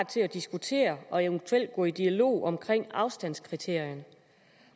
til at diskutere og eventuelt gå i dialog omkring afstandskriterierne